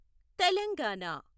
Telangana